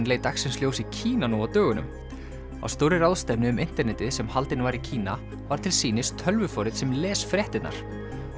leit dagsins ljós í Kína nú á dögunum á stórri ráðstefnu um internetið sem haldin var í Kína var til sýnis tölvuforrit sem les fréttirnar